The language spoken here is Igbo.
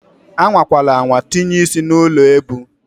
Anwakwala anwa tinye ị́sị́ n'ụlọ ebu!